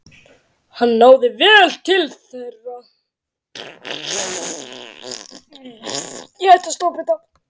Hann náði vel til þeirra.